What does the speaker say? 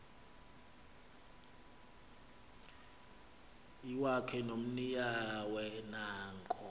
iwakhe nomninawe nanko